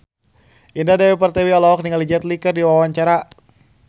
Indah Dewi Pertiwi olohok ningali Jet Li keur diwawancara